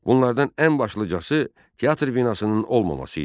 Bunlardan ən başlıcası teatr binasının olmaması idi.